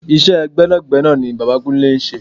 Iṣẹ́ gbẹ́nàgbẹ́nà ni bàbá Kúnlé ń ṣe.